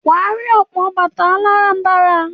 Wà á rí ọ̀pọ̀ bàtà aláràm̀barà.